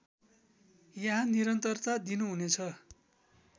यहाँ निरन्तरता दिनुहुनेछ